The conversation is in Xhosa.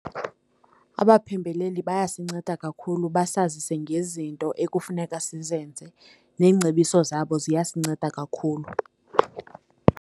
Abaphembeleli bayasinceda kakhulu basazise ngezinto ekufuneka sizenze, neengcebiso zabo ziyasinceda kakhulu.